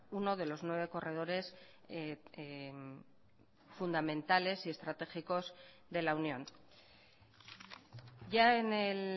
uno de los nueve corredores fundamentales y estratégicos de la unión ya en el